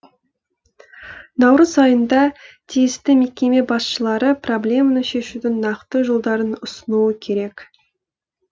наурыз айында тиісті мекеме басшылары проблеманы шешудің нақты жолдарын ұсынуы керек